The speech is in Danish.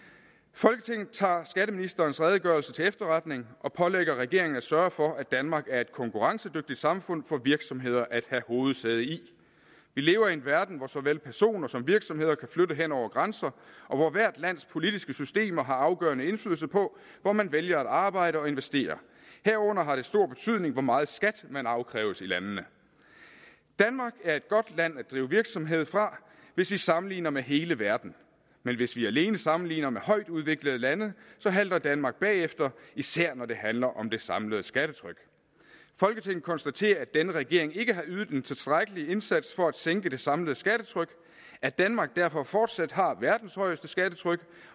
folketinget tager skatteministerens redegørelse til efterretning og pålægger regeringen at sørge for at danmark er et konkurrencedygtigt samfund for virksomheder at have hovedsæde i vi lever i en verden hvor såvel personer som virksomheder kan flytte hen over grænser og hvor hvert lands politiske systemer har afgørende indflydelse på hvor man vælger at arbejde og investere herunder har det stor betydning hvor meget skat man afkræves i landene danmark er et godt land at drive virksomhed fra hvis vi sammenligner med hele verden men hvis vi alene sammenligner med højt udviklede lande halter danmark bagefter især når det handler om det samlede skattetryk folketinget konstaterer at denne regering ikke har ydet en tilstrækkelig indsats for at sænke det samlede skattetryk at danmark derfor fortsat har verdens højeste skattetryk